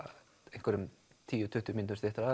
einhverjum tíu til tuttugu mínútum styttra